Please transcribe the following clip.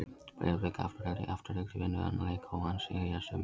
Breiðablik- Afturelding Afturelding vinnur þennan leik óvænt segja sumir.